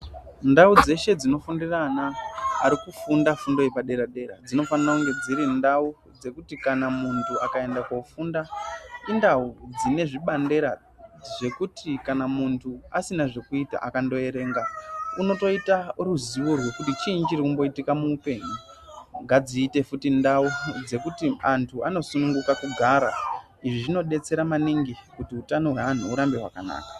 Ndau dzeshe dzinofundira ana arikufunda fundo yepaderadera dzinofanire kunge dziri ndau dzekuti munhu akaende kofunda indau dzine zvibandera zvekuti munhu kana asina zvekuita akandoerenga unotoita ruziyo rwekuti chiinhyi chirikumboitika ngadziite futi ndau dzekuti anhu anosunguka kugara izvi zvinodetsera manaingi kuti utano hweanhu hugare hwakanaka.